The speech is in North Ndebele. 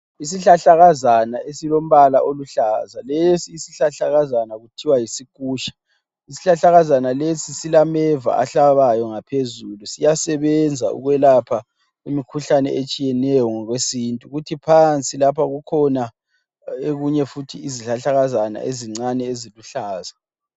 Isihlahlakazana esilombala oluhlaza. Lesi isihlahlakazana kuthiwa yisikusha. Isihlahlakazana lesi silameva ahlabayo ngaphezulu. Siyasebenza ukwelapha imikhuhlane etshiyeneyo ngokwesintu. Kuthi phansi lapha kukhona okunye futhi izihlahlakazana ezinye eziluhlaza.